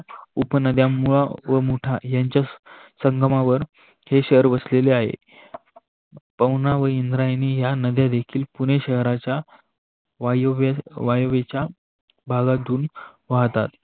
उपनद्या मुळा व मुठा संगमावर हे शहर वसलेले आहे. पवना व इंद्रायणी या नद्या देखील पुणे शहराच्या वाहिवेचा भागातून वाहतात.